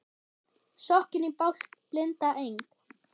Sokkinn í bálk blinda Eng